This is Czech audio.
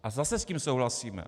A zase s tím souhlasíme.